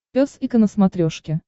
пес и ко на смотрешке